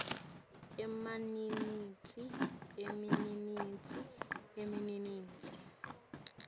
emaminitsi emaminitsi emaminitsi